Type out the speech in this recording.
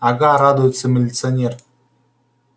ага радуется милиционер